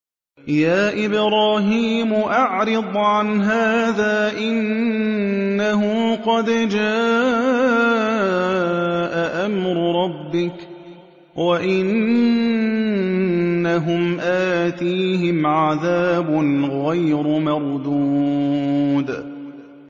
يَا إِبْرَاهِيمُ أَعْرِضْ عَنْ هَٰذَا ۖ إِنَّهُ قَدْ جَاءَ أَمْرُ رَبِّكَ ۖ وَإِنَّهُمْ آتِيهِمْ عَذَابٌ غَيْرُ مَرْدُودٍ